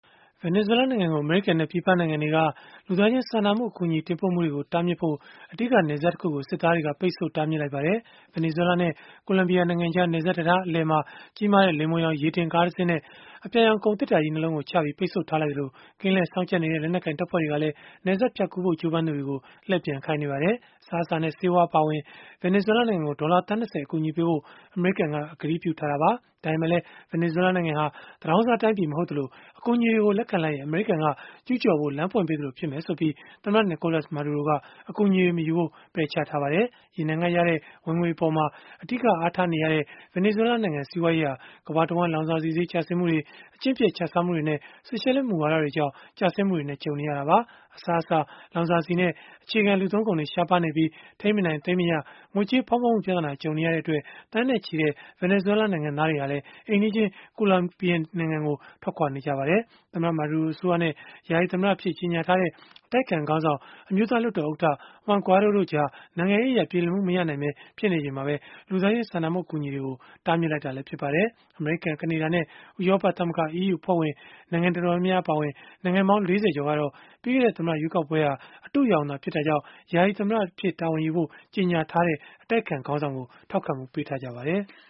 ဗင်နီဇွဲလားနိုင်ငံကို အမေရိကန်နဲ့ ပြည်ပနိုင်ငံတွေက လူသားချင်းစာနာမှု အကူအညီ တင်ပို့မှုတွေကို တားမြစ်ဖို့ အဓိက နယ်စပ်တခုကို စစ်သားတွေက ပိတ်ဆို့တားမြစ်လိုက်ပါတယ်။ ဗင်နီဇွဲလားနဲ့ ကိုလံဘီယာနိုင်ငံကြား နယ်စပ်တံတား အလယ်မှာ ကြီးမားတဲ့ လိမ္မော်ရောင် ရေတင်ကားတစင်းနဲ့ အပြာရောင် ကုန်သေတ္တာကြီး ၂ လုံးကိုချပြီး ပိတ်ဆို့ထားလိုက်သလို၊ ကင်းလှည့်စောင့်ကြပ်နေတဲ့ လက်နက်ကိုင် တပ်ဖွဲ့တွေကလည်း နယ်စပ်ဖြတ်ကူးဖို့ ကြိုးပမ်းသူတွေကို လှည့်ပြန်ခိုင်းနေပါတယ်။ အစားအစာနဲ့ ဆေးဝါး အပါအဝင် ဗင်နီဇွဲလား နိုင်ငံကို ဒေါ်လာသန်း ၂၀ အကူအညီပေးဖို့ အမေရိကန်က ကတိပြုထားတာပါ။ ဒါပေမဲ့လည်း ဗင်နီဇွဲလားနိုင်ငံဟာ သူတောင်းစားတိုင်းပြည် မဟုတ်သလို အကူအညီတွေကို လက်ခံလိုက်ရင် အမေရိကန်က ကျုးကျော်ဖို့ လမ်းဖွင့်ပေးသလို ဖြစ်လိမ့်မယ်ဆိုပြီး သမ္မတ Nicolas Maduro က အကူအညီတွေ မယူဖို့ ပယ်ချထားပါတယ်။ ရေနံကရတဲ့ ဝင်ငွေအပေါ် အဓိကအားထားနေရဲ့ ဗင်နီဇွဲလားနိုင်ငံ စီးပွားရေးဟာ ကမ္ဘာတဝန်း လောင်စာဆီဈေး ကျဆင်းမှုတွေ၊ အကျင့်ပျက်ခြစားမှုတွေနဲ့ ဆိုရှယ်လစ်မူဝါဒတွေကြောင့် ကျဆင်းမှုတွေနဲ့ ကြုံနေရတာပါ။ အစားအစာ၊ လောင်စာဆီနဲ့ အခြေခံလူသုံးကုန်တွေ ရှားပါးနေပြီး၊ ထိန်းမနိုင်သိမ်းမရ ငွေကြေးဖောင်းပွမှု ပြဿနာ ကြုံနေရတဲ့အတွက် သန်းနဲ့ချီတဲ့ ဗင်နီဇွဲလား နိုင်ငံသားတွေဟာလည်း အိမ်နီးချင်း ကိုလံဘီယာနိုင်ငံကို ထွက်ခွာနေကြပါတယ်။ သမ္မတ Maduro အစိုးရနဲ့ ယာယီသမ္မတအဖြစ် ကြေညာထားတဲ့ အတိုက်အခံခေါင်းဆောင်၊ အမျိုးသားလွှတ်တော်ဥက္ကဋ္ဌ Juan Guaido တို့ကြား နိုင်ငံရေးအရ ပြေလည်မှု မရနိုင်ဘဲ ဖြစ်နေချိန်မှာပဲ လူသားချင်းစာနာမှု အကူအညီတွေကို တားမြစ်လိုက်တာလည်း ဖြစ်ပါတယ်။ အမေရိကန်၊ ကနေဒါနဲ့ ဥရောပသမဂ္ဂ (EU) အဖွဲ့ဝင် နိုင်ငံတော်တော်များများ အပါအဝင် နိုင်ငံပေါင်း ၄၀ ကျော်ကတော့ ပြီးခဲ့တဲ့ သမ္မတရွေးကောက်ပွဲဟာ အတုအယောင်သာ ဖြစ်တာကြောင့် သမ္မတဖြစ်ခွင့်ရှိကြောင်း ကြေညာထားတဲ့ အတိုက်အခံခေါင်းဆောင်ကို ထောက်ခံမှုပေးထားပါတယ်။